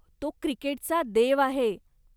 तो 'क्रिकेटचा देव' आहे.